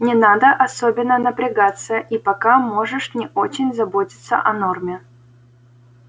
не надо особенно напрягаться и пока можешь не очень заботиться о норме